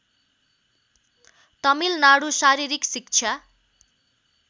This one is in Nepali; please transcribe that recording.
तमिलनाडु शारीरिक शिक्षा